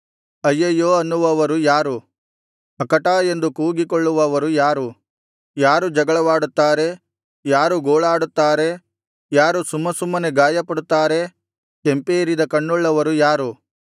ಅಯ್ಯಯ್ಯೋ ಅನ್ನುವವರು ಯಾರು ಅಕಟಾ ಎಂದು ಕೂಗಿಕೊಳ್ಳುವವರು ಯಾರು ಯಾರು ಜಗಳವಾಡುತ್ತಾರೆ ಯಾರು ಗೋಳಾಡುತ್ತಾರೆ ಯಾರು ಸುಮ್ಮಸುಮ್ಮನೆ ಗಾಯಪಡುತ್ತಾರೆ ಕೆಂಪೇರಿದ ಕಣ್ಣುಳ್ಳವರು ಯಾರು